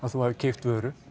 þú hafir keypt vöru